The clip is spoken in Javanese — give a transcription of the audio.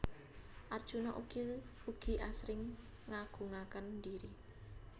Arjuna ugi asring ngagungaken dhiri